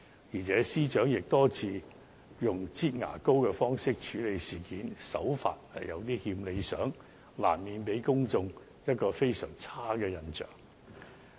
此外，司長亦多次以"擠牙膏"的方式處理事件，手法有欠理想，難免給公眾非常差的印象。